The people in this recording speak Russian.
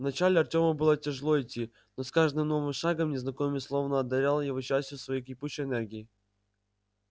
вначале артему было тяжело идти но с каждым новым шагом незнакомец словно одарял его частью своей кипучей энергии